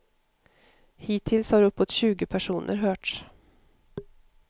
Hittills har uppåt tjugo personer hörts.